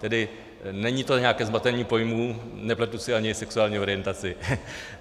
Tedy není to nějaké zmatení pojmů, nepletu si ani sexuální orientaci.